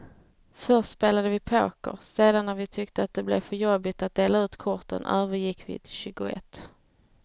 Först spelade vi poker, sedan när vi tyckte att det blev för jobbigt att dela ut korten övergick vi till tjugoett.